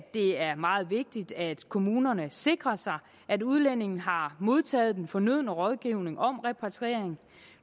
er meget vigtigt at kommunerne sikrer sig at udlændingen har modtaget den fornødne rådgivning om repatriering